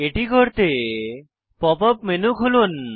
এটি করতে pop up menu খুলুন